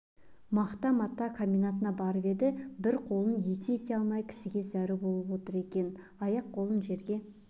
мақта-мата комбинатына барып еді бір қолын екі ете алмай кісіге зәру болып отыр екен аяқ-қолын жерге